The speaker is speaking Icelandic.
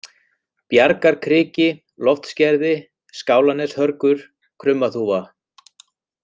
Bjargarkriki, Loftsgerði, Skálaneshörgur, Krummaþúfa